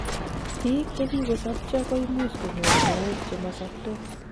biik chekikosobcho koimuch konyor mook chemosobtos